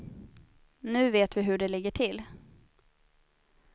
Nu vet vi hur det ligger till.